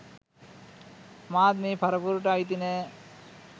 මාත් මේ පරපුරට අයිති නෑ.